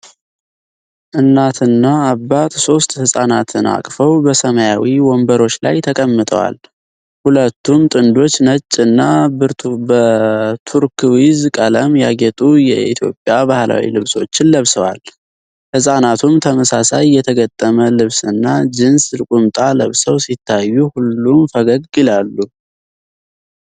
እናትና አባት ሦስት ሕፃናትን አቅፈው በሰማያዊ ወንበሮች ላይ ተቀምጠዋል። ሁለቱም ጥንዶች ነጭ እና በቱርክዊዝ ቀለም ያጌጡ የኢትዮጵያ ባህላዊ ልብሶችን ለብሰዋል። ሕፃናቱም ተመሳሳይ የተገጠመ ልብስና ጂንስ ቁምጣ ለብሰው ሲታዩ፣ ሁሉም ፈገግ ይላሉ።